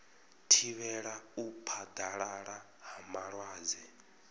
thivhela u phaḓalala ha malwadze